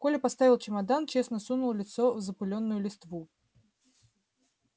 коля поставил чемодан честно сунул лицо в запылённую листву